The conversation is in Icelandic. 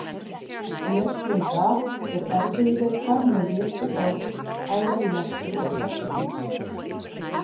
Lesblinda er erfiðleikar með rituð orð, bæði í lestri og stafsetningu.